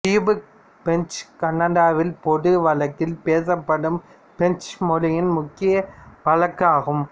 Quebec French கனடாவில் பொது வழக்கில் பேசப்படும் பிரெஞ்சு மொழியின் முக்கிய வழக்கு ஆகும்